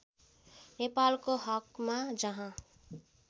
नेपालको हकमा जहाँ